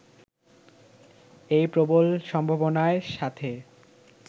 এই প্রবল সম্ভাবনার সাথে